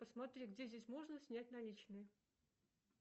посмотри где здесь можно снять наличные